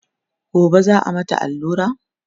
gobe za'a mata allura?